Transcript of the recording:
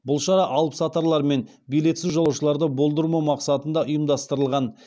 бұл шара алыпсатарлар мен билетсіз жолаушыларды болдырмау мақсатында ұйымдастырылған